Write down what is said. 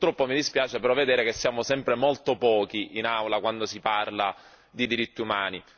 Purtroppo mi dispiace però vedere che siamo sempre molto pochi in Aula quando si parla di diritti umani.